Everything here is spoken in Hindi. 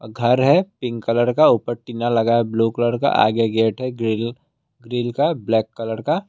घर है पिंक कलर का ऊपर टीना लगा है ब्लू कलर का आगे गेट है ग्रिल ग्रिल का ब्लैक कलर का।